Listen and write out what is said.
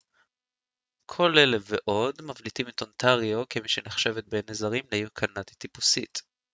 כל אלה ועוד מבליטים את אונטריו כמי שנחשבת בעיני זרים לעיר קנדית טיפוסית